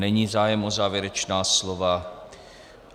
Není zájem o závěrečná slova.